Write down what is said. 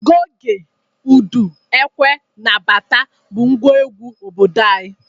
Goge, udu, ekwe na bata bụ ngwa egwu obodo anyị.